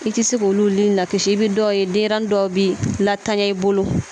I tɛ se k'olu ni lakisi i bɛ dɔw ye denɲɛrɛnin dɔw bi latanya i bolo